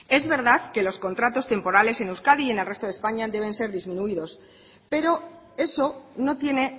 es verdad que los contratos temporales en euskadi y en el resto de españa deben ser disminuidos pero eso no tiene